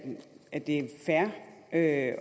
at det er fair at